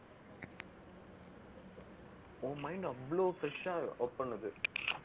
உன் mind அவ்ளோ fresh ஆ work பண்ணுது